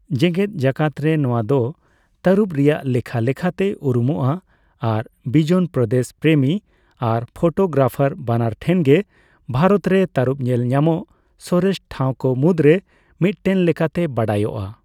ᱡᱮᱜᱮᱫ ᱡᱟᱠᱟᱛ ᱨᱮ ᱱᱚᱣᱟ ᱫᱚ ᱛᱟᱹᱨᱩᱵᱽ ᱨᱮᱭᱟᱜ ᱞᱮᱠᱷᱟ ᱞᱮᱠᱟᱛᱮ ᱩᱨᱩᱢᱚᱜᱼᱟ ᱟᱨ ᱵᱤᱡᱚᱱᱯᱚᱫᱮᱥ ᱯᱨᱮᱢᱤ ᱟᱨ ᱯᱷᱚᱴᱚᱜᱨᱮᱯᱷᱟᱨ ᱵᱟᱱᱟᱨ ᱴᱷᱮᱱᱜᱮ ᱵᱷᱟᱨᱚᱛ ᱨᱮ ᱛᱟᱹᱨᱩᱵᱽ ᱧᱮᱞ ᱧᱟᱢᱚᱜ ᱥᱚᱨᱮᱥ ᱴᱷᱟᱣᱠᱚ ᱢᱩᱫᱽᱨᱮ ᱢᱤᱫᱴᱮᱱ ᱞᱮᱠᱟᱛᱮ ᱵᱟᱰᱟᱭᱚᱜᱼᱟ ᱾